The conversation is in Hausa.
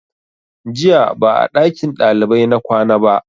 Jiya ba a ɗakin ɗalibai na kwana ba